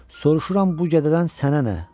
Soruşuram bu gədədən sənə nə?